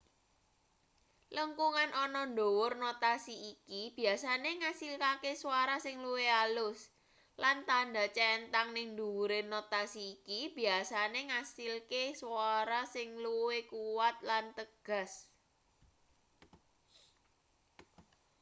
lengkungan ana ndhuwur notasi iki biyasane ngasilke swara sing luwih alus lan tandha centhang ning ndhuwure notasi iki biyasane ngasilke swara sing luwih kuwat lan tegas